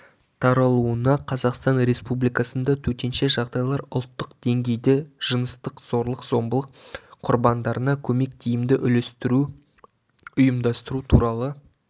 таралуына қазақстан республикасында төтенше жағдайлар ұлттық деңгейде жыныстық зорлық-зомбылық құрбандарына көмек тиімді үйлестіру ұйымдастыру туралы